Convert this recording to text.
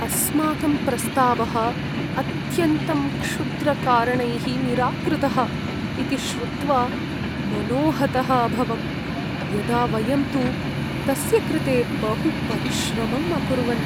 अस्माकं प्रस्तावः अत्यन्तं क्षुद्रकारणैः निराकृतः इति श्रुत्वा मनोहतः अभवं, यदा वयं तु तस्य कृते बहु परिश्रमम् अकुर्वन्।